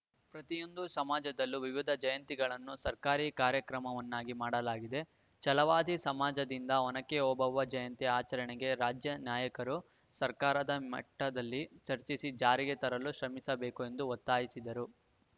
ಪ್ರತಿಯೊಂದು ಸಮಾಜದಲ್ಲೂ ವಿವಿಧ ಜಯಂತಿಗಳನ್ನು ಸರ್ಕಾರಿ ಕಾರ್ಯಕ್ರಮವನ್ನಾಗಿ ಮಾಡಲಾಗಿದೆ ಛಲವಾದಿ ಸಮಾಜದಿಂದ ಒನಕೆ ಓಬವ್ವ ಜಯಂತಿ ಆಚರಣೆಗೆ ರಾಜ್ಯನಾಯಕರು ಸರ್ಕಾರದ ಮಟ್ಟದಲ್ಲಿ ಚರ್ಚಿಸಿ ಜಾರಿಗೆ ತರಲು ಶ್ರಮಿಸಬೇಕು ಎಂದು ಒತ್ತಾಯಿಸಿದರು